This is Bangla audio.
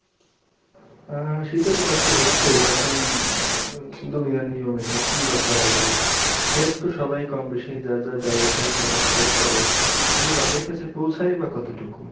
হ্যাঁ শীতে তো কষ্ট হচ্ছেই এখন দুনিয়ার নিয়ম এটা কী বা করা যাবে help তো সবাই কম বেশি যা যা জায়গা থেকে করার try করে কিন্তু তাদের কাছে পৌছায় বা কতোটুকু?